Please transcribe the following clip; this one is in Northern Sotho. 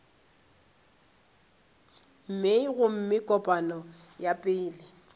mei gomme kopano ya pele